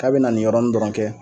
K'a bɛ na nin yɔrɔnin dɔrɔn kɛ